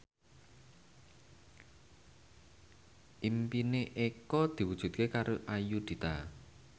impine Eko diwujudke karo Ayudhita